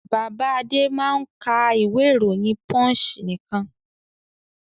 Bàbá Adé máa ń ka ìwé-ìròyìn Punch nìkan.